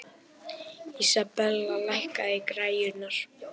Isabella, lækkaðu í græjunum.